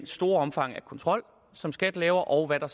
store omfang af kontrol som skat laver og hvad der